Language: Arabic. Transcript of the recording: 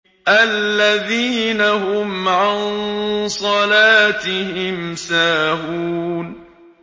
الَّذِينَ هُمْ عَن صَلَاتِهِمْ سَاهُونَ